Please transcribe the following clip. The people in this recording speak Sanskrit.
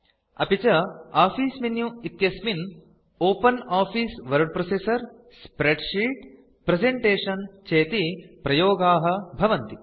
अपि च आफिस मेनु इत्यस्मिन् open office word processor spreadsheet presentation चेति प्रयोगाः भवन्ति